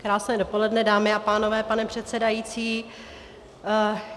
Krásné dopoledne, dámy a pánové, pane předsedající.